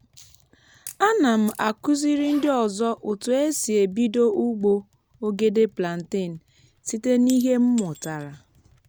ana m akụziri ndị ọzọ otu e si ebido ugbo ogede plantain site n’ihe m mụtara.